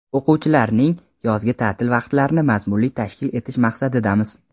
o‘quvchilarning yozgi taʼtil vaqtlarini mazmunli tashkil etish maqsadidamiz.